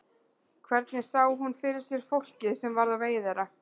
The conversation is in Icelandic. Hvernig sá hún fyrir sér fólkið sem varð á vegi þeirra?